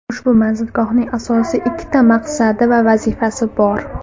Ushbu manzilgohning asosiy ikkita maqsadi va vazifasi bor.